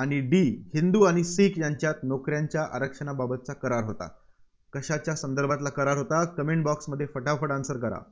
आणि D हिंदू आणि शिख यांच्यात नोकऱ्यांच्या आरक्षणाबाबतचा करार होता. कशाच्या संदर्भातला करार होता Comment box मध्ये फटाफट answer करा.